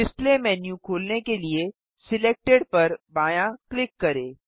display menu खोलने के लिए सिलेक्टेड पर बायाँ क्लिक करें